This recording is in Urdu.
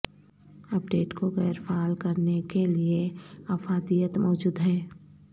اپ ڈیٹ کو غیر فعال کرنے کے لئے افادیت موجود ہیں